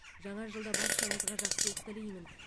жаңа жылда баршаңызға жақсылық тілеймін